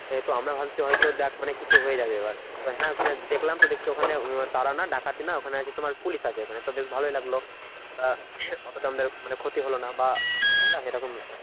তো আমরা ভাবছি হয়তো দেখ মানে কিছু হয়ে যাবে এবার। তো হ্যাঁ ওখানে দেখলাম দেখছি ওখানে তারা হয় ডাকাতি নয় ওখানে আছে তোমার পুলিশ আছে তো বেশ ভালোই লাগলো। অতটা আমাদের ক্ষতি হলোনা বা বুঝলা এরকম ব্যাপার